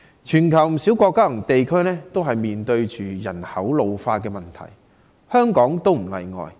全球不少國家及地區正面對人口老化的問題，香港也不例外。